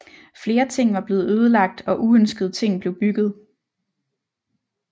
Flere ting var blevet ødelagt og uønskede ting blev bygget